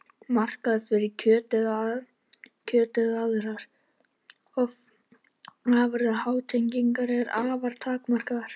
Markaður fyrir kjöt eða aðrar afurðir háhyrninga er afar takmarkaður.